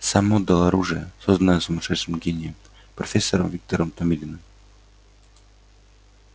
сам отдал оружие созданное сумасшедшим гением профессором виктором томилиным